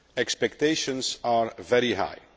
Expectations are very high.